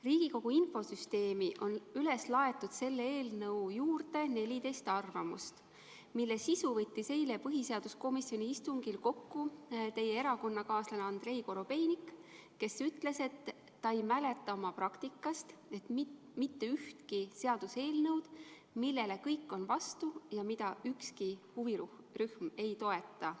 Riigikogu infosüsteemi on üles laetud selle eelnõu juurde 14 arvamust, mille sisu võttis eile põhiseaduskomisjoni istungil kokku teie erakonnakaaslane Andrei Korobeinik, kes ütles, et ta ei mäleta oma praktikast mitte ühtegi seaduseelnõu, millele kõik on vastu ja mida ükski huvirühm ei toeta.